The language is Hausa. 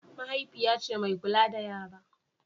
mahaifiya ce mai kula da yara